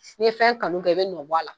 N'i ye fɛn kanu kɛ i be nɔbɔ a la